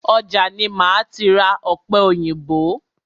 Ọjà ni máa ti ra ọ̀pẹ òyìnbó.